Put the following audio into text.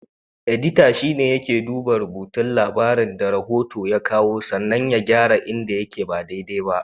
Edita shine yake duba rubutun labarin da rafota ya kawo sannan ya gyara inda yake ba dai-dai ba.